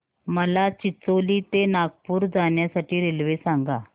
मला चिचोली ते नागपूर जाण्या साठी रेल्वे सांगा